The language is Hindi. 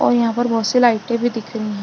और यहां पर बहोत सी लाइटे भी दिख रही है।